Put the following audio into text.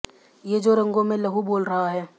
ये जो रगों में लहू बोल रहा है